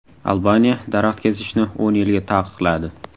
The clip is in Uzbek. Albaniya daraxt kesishni o‘n yilga taqiqladi.